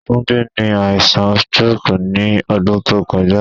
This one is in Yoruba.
Tunde ni aisan stroke ni ọdun to kọja